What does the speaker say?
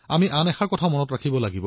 গতিকে আমি এই সুযোগটো এৰি দিব নালাগে